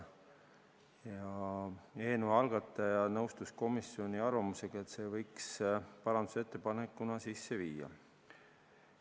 Eelnõu algataja nõustus komisjoni arvamusega, et selle võiks parandusettepanekuna sisse viia.